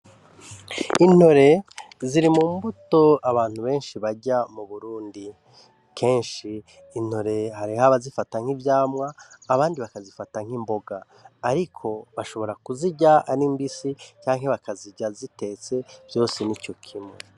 Intore ziri mu mbuto abantu benshi barya mu burundi kenshi intore hari aba zifata nk'ivyamwa abandi bakazifata nk'imboga, ariko bashobora kuzirya ari mbisi canke bakazirya zitetse vyose nico kimwe.